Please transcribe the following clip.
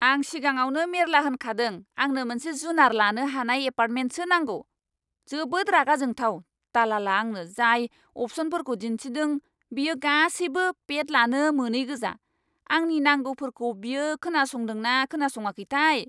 आं सिगाङावनो मेरला होनखादों आंनो मोनसे जुनार लानो हानाय एपार्टमेन्टसो नांगौ। जोबोद रागा जोंथाव, दलाला आंनो जाय अपसनफोरखौ दिन्थिदों बेयो गासैबो पेट लानो मोनैगोजा। आंनि नांगौफोरखौ बियो खोनासंदोंना ना खोनासङाखैथाय।